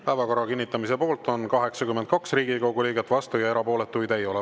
Päevakorra kinnitamise poolt on 82 Riigikogu liiget, vastu ja erapooletuid ei ole.